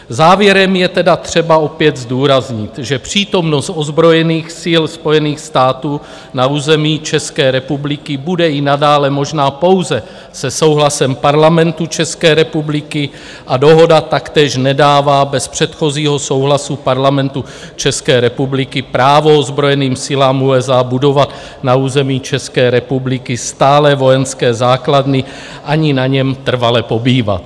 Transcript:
Závěrem je tedy třeba opět zdůraznit, že přítomnost ozbrojených sil Spojených států na území České republiky bude i nadále možná pouze se souhlasem Parlamentu České republiky, a dohoda taktéž nedává bez předchozího souhlasu Parlamentu České republiky právo ozbrojeným silám USA budovat na území České republiky stálé vojenské základny ani na něm trvale pobývat.